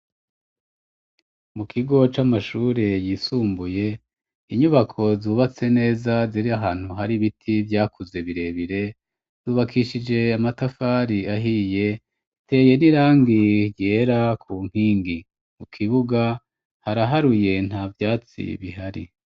Mu kigo c'amashure yisumbuye inyubako zubatse neza ziri ahantu hari ibiti vyakuze birebire yubakishije amatafari ahiye teye n'irangi ryera ku nkingi mu kibuga haraharuye nta vyatsi bihari.